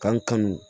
K'an kanu